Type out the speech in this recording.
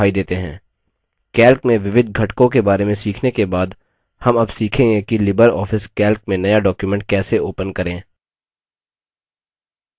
calc में विविध घटकों के बारे में सीखने के बाद हम अब सीखेंगे कि लिबर ऑफिस calc में नया document कैसे open करें